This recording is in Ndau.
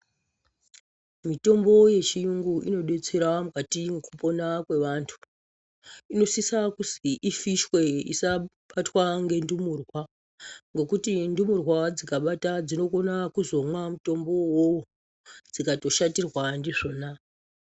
Mitombo yechiyungu inodetsera mukati mwekupona kwevantu. Ino sisa kuzwi ifishwe isa batwa ngendumurwa, ngekuti ndumurwa dzika bata dzino kona kuzomwa mutombowo uwowo dzikato shatirwa ndizvona.